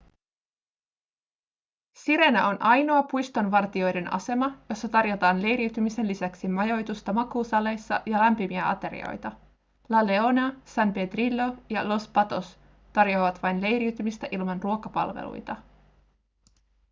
sirena on ainoa puistonvartijoiden asema jossa tarjotaan leiriytymisen lisäksi majoitusta makuusaleissa ja lämpimiä aterioita la leona san pedrillo ja los patos tarjoavat vain leiriytymistä ilman ruokapalveluita